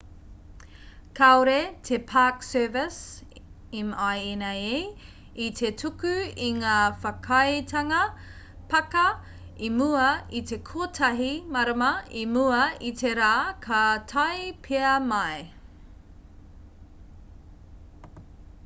kāore te park service minae i te tuku i ngā whakaaetanga pāka i mua i te kotahi marama i mua i te rā ka tae pea mai